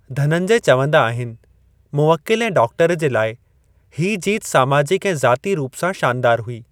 धनंजय चवंदा आहिनि, मुवक्किल ऐं डॉक्टर जे लाइ, हीअ जीत सामाजिकु ऐं ज़ाती रूप सां शानदार हुई।